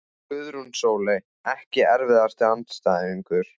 Guðrún Sóley Ekki erfiðasti andstæðingur?